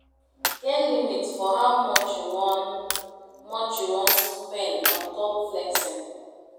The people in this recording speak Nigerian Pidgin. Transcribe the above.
Budget wetin your power fit carry no go do pass yourself